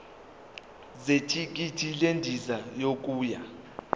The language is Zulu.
zethikithi lendiza yokuya